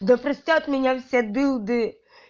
да простят меня все дылды